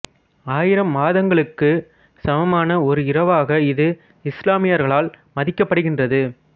ஆயிரம் மாதங்களுக்கு சமமான ஒரு இரவாக இது இசுலாமியர்களால் மதிக்கப்படுகின்றது